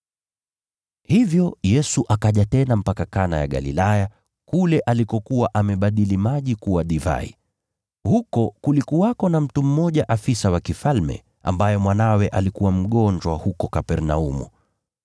Hivyo Yesu akaja tena mpaka Kana ya Galilaya, kule alikokuwa amebadili maji kuwa divai. Huko kulikuwepo na afisa mmoja wa mfalme, ambaye mwanawe alikuwa mgonjwa huko Kapernaumu.